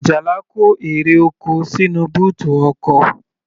Ajala kó èrè oko sínú bóòtù ọkọ̀.